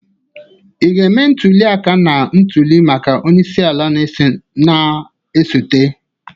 Ị ga-eme ntuli aka na ntuli maka onye isi ala na-esote?